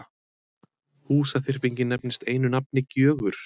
Húsaþyrpingin nefnist einu nafni Gjögur.